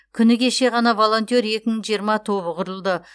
күні кеше ғана волонтер екі мың жиырма тобы құрылды